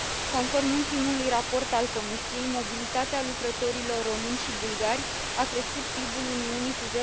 Conform ultimului raport al Comisiei, mobilitatea lucrătorilor români și bulgari a crescut PIB ul Uniunii cu